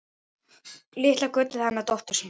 Litla gullið hana dóttur sína.